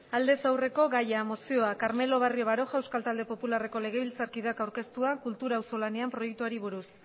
aldez aurreko gaia mozioa carmelo barrio baroja euskal talde popularreko legebiltzarkideak aurkeztua kultura auzolanean proiektuari buruz